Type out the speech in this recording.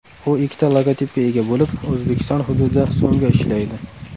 U ikkita logotipga ega bo‘lib, O‘zbekiston hududida so‘mga ishlaydi.